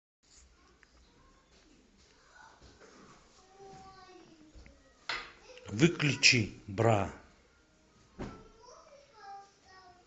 выключи бра